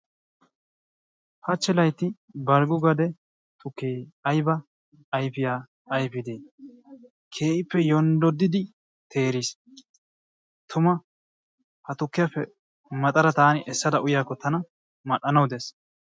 Hachchi laytti Balggo gade tukkee aybba ayfiyaa ayfide, keehippe yonddodidi teeriis. Tuma, ha tukkiyappe maxadda taani essada uyyiyaakko tana mal''anawu dees.